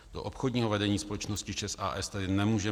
Do obchodního vedení společnosti ČEZ a. s. tedy nemůže